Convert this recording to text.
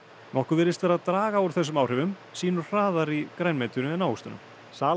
nokkuð virðist vera að draga úr þessum áhrifum sýnu hraðar í grænmetinu en ávöxtunum sala